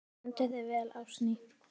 Þú stendur þig vel, Ásný!